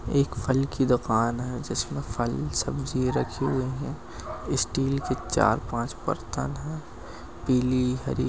एक फल की दूकान है जिसमे फल सब्जी रखी हुई है स्टील के चार पाच बर्तन है पीली हरी--